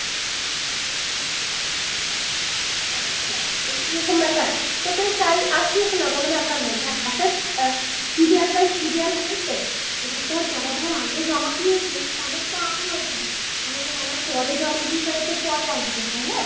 আচ্ছা এরকম ব্যাপার সেটাই তাই আসুক না কোনো ব্যাপার নয় দেখ একটা আহ serial by serial হয়তো এবার দেখ যারা ধর আগে জমা করেছে তাদের তো আগে আসবে যারা পরে জমা দিয়েছে তদেরটা পরে আসবে তাই না?